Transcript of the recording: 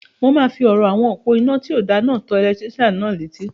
Mo máa fi ọ̀rọ̀ àwọn òpó-inà tí o da náà tó ẹlẹtírísàn náà létí